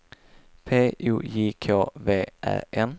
P O J K V Ä N